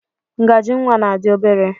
Ngaji nwa na dị obere.